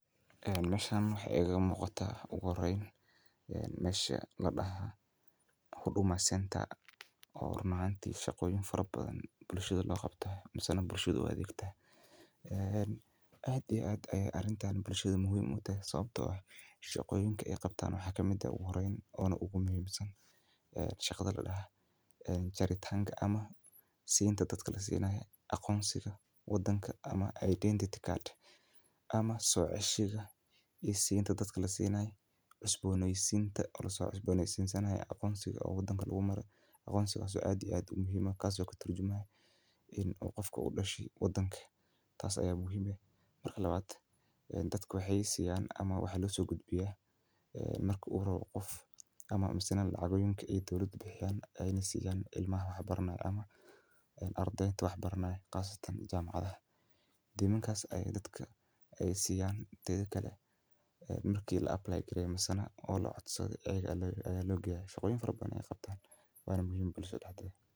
Eeh, meesha maxay eega muuqata ah u guurayn? Yeen meesha la dhaha. Huduma Centre ah oo hor macaanti shaqooyin farabadan bulshada la qabto masana bulshadu waa adigta. Eeen, cad iyo cad ayaa arintaan bulshadu muhiim u tahay sababtoo ah: shaqooyinka ay qabtaan waxa kamida u guurayn oo na ugu muhiimsan ee shaqada la dhaha, een jaritanka ama siinta dadka la siinay aqoonsiga waddanka ama identity card ama soo ceshiga iyo siinta dad kala siinay, cusboonaysiinta, olosoo cusboonaysiin sannad aqoonsiga oo waddanka lagu marayo. Aqoonsigaasu cad iyo cad muhiima kaasoo ka tarjumahay in qafka u dhashi waddanka taas ayaa muhimma ah. Marka labad, eeen dadku waxay siiyaan ama waxay loo soo gudbiyaa ee marka uu horo qof ama masana lacagooyinka ay dolada bixiyaan ayni siiyaan cilmaha waxbarne ah ama een ardaynta waxbarne ah kaasatan jamacada. Dinuun kaas ayaa dadka ay siiyaan taa kale mirki la apply kirey masana oo loo codsaday eegga loo looginayay. Shaqooyin farbadan ay qabtaan wana muhiima bulshadu dhaxdhed.